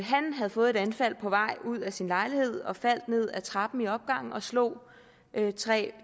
han havde fået et anfald på vej ud af sin lejlighed og var faldet ned ad trappen i opgangen og slog tre